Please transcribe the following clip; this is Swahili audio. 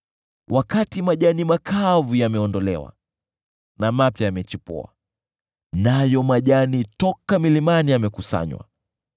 Wakati majani makavu yameondolewa na mapya yamechipua, nayo majani toka milimani yamekusanywa,